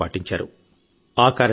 ఎప్పుడు ఏమవుతుందో తెలియని స్థితి